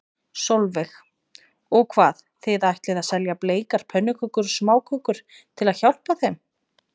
Sólveig: Og hvað, þið ætlið að selja bleikar pönnukökur og smákökur til að hjálpa þeim?